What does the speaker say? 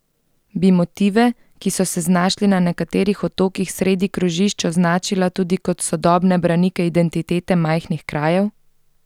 Bi motive, ki so se znašli na nekaterih otokih sredi krožišč, označila tudi kot sodobne branike identitete majhnih krajev?